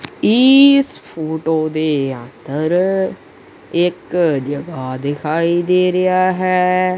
ਈਸ photo ਦੇ ਅੰਦਰ ਇਕ ਜਗਾ ਦਿਖਾਈ ਦੇ ਰਿਹਾ ਹੈ।